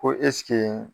Ko